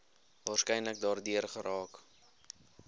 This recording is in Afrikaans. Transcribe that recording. waarskynlik daardeur geraak